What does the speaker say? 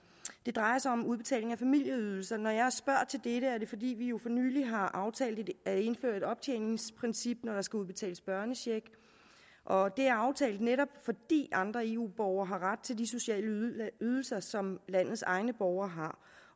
det drejer sig om udbetaling af familieydelser når jeg spørger til dette er det fordi vi jo for nylig har aftalt at indføre et optjeningsprincip når der skal udbetales børnecheck og det er aftalt netop fordi andre eu borgere har ret til de sociale ydelser som landets egne borgere